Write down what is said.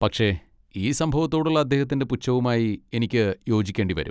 പക്ഷേ, ഈ സംഭവത്തോടുള്ള അദ്ദേഹത്തിന്റെ പുച്ഛവുമായി എനിക്ക് യോജിക്കേണ്ടി വരും.